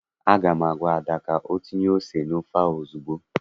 Aga m agwa Ada ka o tinye ose n'ofe ahụ ozugbo!